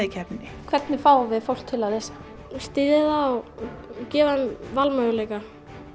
í keppninni hvernig fáum við fólk til að lesa styðja það og gefa þeim valmöguleika